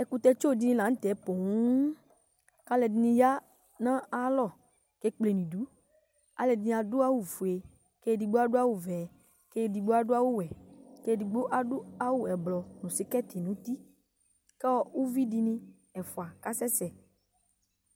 Ɛkutɛ tsɔ dini la nu tɛ poo aluɛdini ya nu ayalɔ aluɛdini adu awu fue kedigbo adu awu vɛ kedigbo adu awu wɛ kedigbo adu ublu nu skɛti nu uti ku uvidini ɛfua kasɛsɛ